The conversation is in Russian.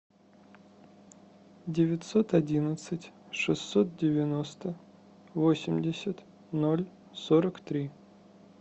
девятьсот одиннадцать шестьсот девяносто восемьдесят ноль сорок три